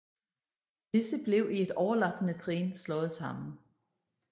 Disse blev i et overlappende trin slået sammen